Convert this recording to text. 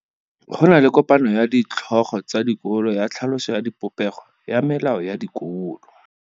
Go na le kopanô ya ditlhogo tsa dikolo ya tlhaloso ya popêgô ya melao ya dikolo.